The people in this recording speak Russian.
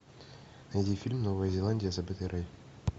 найди фильм новая зеландия забытый рай